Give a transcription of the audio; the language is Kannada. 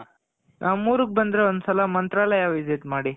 ನಮ್ ಊರುಗ್ ಬಂದ್ರೆ ಒಂದು ಸಲ ಮಂತ್ರಾಲಯಗ್ visit ಮಾಡಿ.